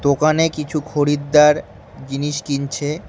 দোকানে কিছু খরিদ্দার জিনিস কিনছে।